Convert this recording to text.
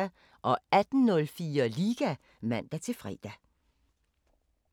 18:04: Liga (man-fre)